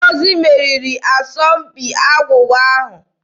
Ngozi meriri n'asọmpi agwụgwa ahụ.